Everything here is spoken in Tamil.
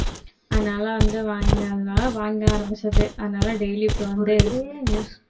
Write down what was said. அதனால வந்து வாங்கி~ வாங்க ஆரம்பிச்சது அதனால daily இப்ப வந்து